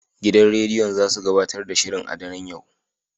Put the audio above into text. Gidan rediyon zasu gabatar da shirin a daren yau.